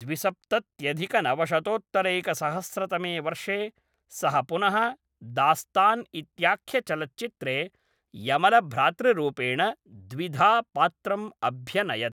द्विसप्तत्यधिकनवशतोत्तरैकसहस्रतमे वर्षे, सः पुनः दास्तान इत्याख्यचलच्चित्रे यमलभ्रातृरूपेण द्विधा पात्रम् अभ्यनयत्।